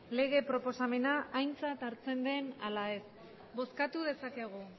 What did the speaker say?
lege proposamena aintzat hartzen den ala ez bozkatu dezakegu